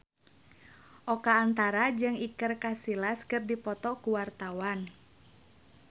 Oka Antara jeung Iker Casillas keur dipoto ku wartawan